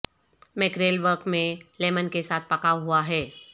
mackerel ورق میں lemon کے ساتھ پکا ہوا ہے